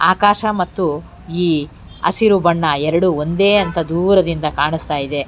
ಆಕಾಶ ಮತ್ತು ಈ ಹಸಿರು ಬಣ್ಣ ಎರಡು ಒಂದೇ ಅಂತ ದೂರದಿಂದ ಕಾಣುಸ್ತಾಯಿದೆ.